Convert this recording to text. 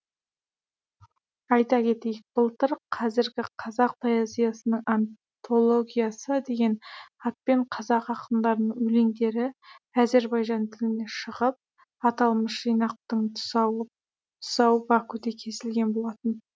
айта кетейік былтыр қазіргі қазақ поэзиясының антологиясы деген атпен қазақ ақындарының өлеңдері әзірбайжан тілінде шығып аталмыш жинақтың тұсауы бакуде кесілген болатын